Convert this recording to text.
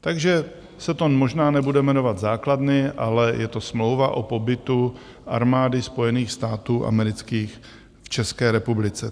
Takže se to možná nebude jmenovat základny, ale je to smlouva o pobytu Armády Spojených států amerických v České republice.